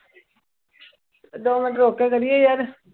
ਦੋ ਮਿੰਟ ਰੁੱਕ ਕੇ ਕਰੀਏ ਯਾਰ।